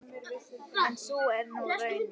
En sú er nú raunin.